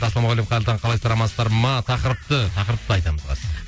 ассалаумағалейкум қайырлы таң қалайсыздар амансыздар ма тақырыпты тақырыпты айтамыз қазір